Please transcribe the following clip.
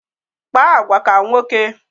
Kpa agwa ka nwoke!